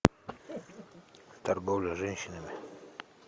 торговля женщинами